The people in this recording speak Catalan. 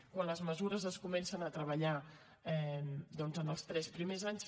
quan les mesures es comencen a treballar doncs els tres primers anys